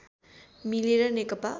मिलेर नेकपा